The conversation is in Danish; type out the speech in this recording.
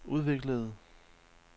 udviklede